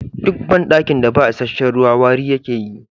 Duk bandakin da ba isasshen ruwa wari yake yi.